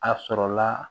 A sɔrɔla